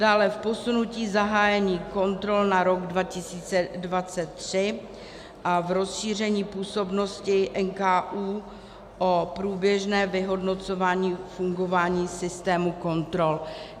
Dále v posunutí zahájení kontrol na rok 2023 a v rozšíření působnosti NKÚ o průběžné vyhodnocování fungování systému kontrol.